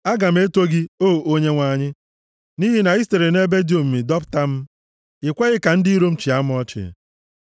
Aga m eto gị, O Onyenwe anyị, nʼihi na i sitere nʼebe dị omimi dọpụta m. I kweghị ka ndị iro m chịa m ọchị.